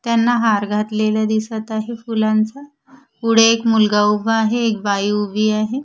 त्यांना हार घातलेला दिसत आहे फुलांचा पुढे एक मुलगा उभा आहे एक बाई उभी आहे.